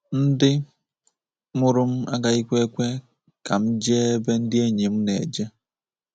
Ndị mụrụ m agaghịkwa ekwe ka m jee ebe ndị enyi m na-eje.